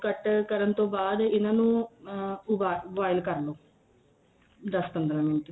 ਕੱਟ ਕਰਨ ਤੋਂ ਬਾਅਦ ਇੰਨਾ ਨੂੰ boil ਕਰ ਲੋ ਦੱਸ ਪੰਦਰਾ ਮਿੰਟ